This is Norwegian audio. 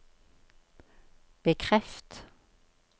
bekreft